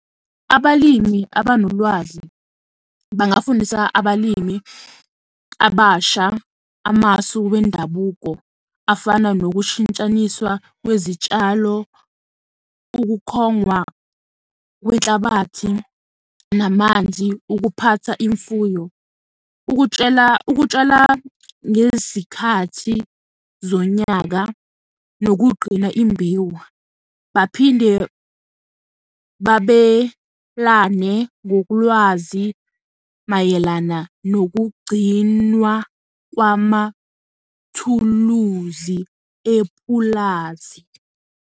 Abalimi abanolwazi bangafundisa abalimi abasha amasu wendabuko afana nokushintshaniswa kwezitshalo, ukukhongwa kwenhlabathi namanzi, ukuphatha imfuyo, ukutshela ukutshala ngezikhathi zonyaka nokugqina imbewu. Baphinde babelane ngokulwazi mayelana nokugcinwa kwamathuluzi epulazi.